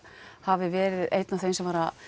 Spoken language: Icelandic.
hafi verið einn af þeim sem var